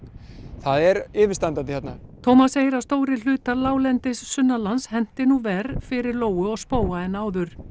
það er yfirstandandi hérna Tómas segir að stórir hlutar láglendis henti nú verr fyrir lóu og spóa en áður